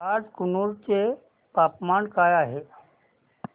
आज कुरनूल चे तापमान काय आहे